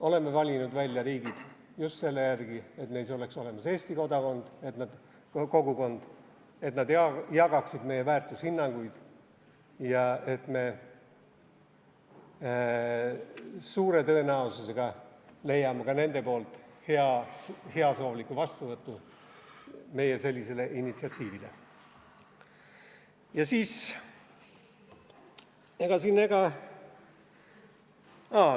Oleme riigid välja valinud just selle järgi, et neis oleks olemas eesti kogukond, et nad jagaksid meie väärtushinnanguid ja et me suure tõenäosusega leiaksime ka nende poolt oma initsiatiivile heasoovliku vastuvõtu.